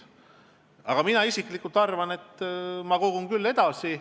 Aga mina isiklikult kogun küll edasi.